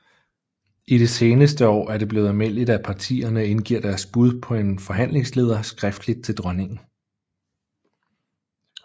I de seneste år er det blevet almindeligt at partierne indgiver deres bud på en forhandlingsleder skriftligt til dronningen